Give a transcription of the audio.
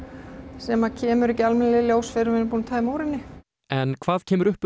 sem kemur ekki almennilega í ljós fyrr en við erum búinn að tæma úr henni en hvað kemur upp um